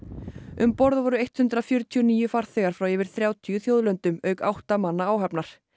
um borð voru hundrað fjörutíu og níu farþegar frá yfir þrjátíu þjóðlöndum auk átta manna áhafnar